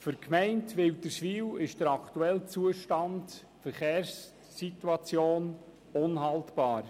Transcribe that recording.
Für die Gemeinde Wilderswil ist der aktuelle Zustand der Verkehrssituation unhaltbar.